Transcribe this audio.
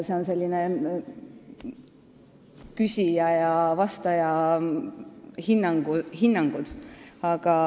Need on sellised küsija ja vastaja hinnangud.